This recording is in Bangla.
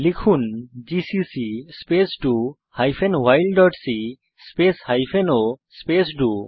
লিখুন GCC space do hyphen while dot c space hyphen o space do